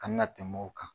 Ka na tɛmɛ o kan